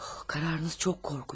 Qararınız çox qorxunc.